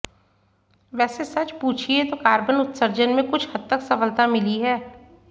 वैसे सच पूछिए तो कार्बन उत्सर्जन में कुछ हद तक सफलता मिली है